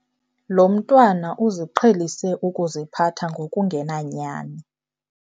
Lo mntwana uziqhelise ukuziphatha ngokungenanyani.